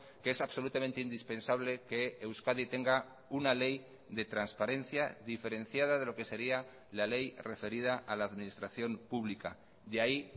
que es absolutamente indispensable que euskadi tenga una ley de transparencia diferenciada de lo que sería la ley referida a la administración pública de ahí